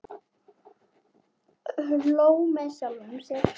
Hló með sjálfum sér.